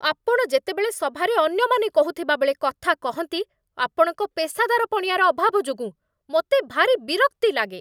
ଆପଣ ଯେତେବେଳେ ସଭାରେ ଅନ୍ୟମାନେ କହୁଥିବାବେଳେ କଥା କହନ୍ତି, ଆପଣଙ୍କ ପେସାଦାରପଣିଆର ଅଭାବ ଯୋଗୁଁ ମୋତେ ଭାରି ବିରକ୍ତି ଲାଗେ